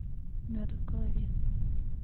мед в голове